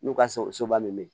N'u ka sogoba min be yen